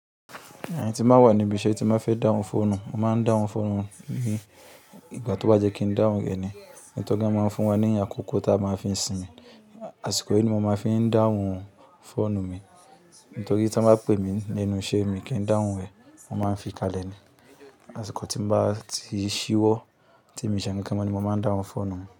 Ẹn tín bá wà ní ibi iṣẹ́ tin ba fẹ́ dáhùn fóònù, mo máa ń dáhùn fóònù mi ní ìgbà tó bá jẹ́ kín dáhùn ré ní. Ẹn tó gá máa ń fún wa ní àkọ́kọ́ tí a máa fin sinmi, àsìkò yii ni mo máa fi ń dáhùn fóònù mi. Tori tí won bá pè mí ní enu iṣẹ́, mi kín dáhùn rẹ̀, mo máa n fi kalẹ̀ ni. Àsìkò tín bá ti ṣíwọ́, tí mi o ṣe ǹkankan mo ni mo máa ń dáhùn fóònù mi.